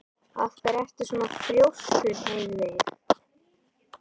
Af hverju ertu svona þrjóskur, Heiðveig?